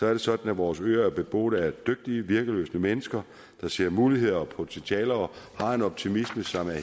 er sådan at vores øer er beboet af dygtige virkelystne mennesker der ser muligheder og potentialer og har en optimisme som er